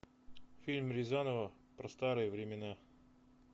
фильм рязанова про старые времена